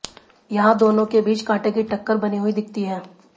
यहां दोनों के बीच कांटे की टक्कर बनी हुई दिखती है